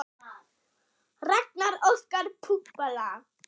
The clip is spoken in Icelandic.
Ragnar og Óskar eru látnir.